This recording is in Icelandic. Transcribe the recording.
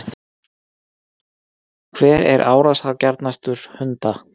hver er árásargjarnastur hunda